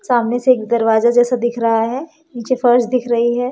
सामने से एक दरवाजा जैसा दिख रहा है नीचे फर्श दिख रही है।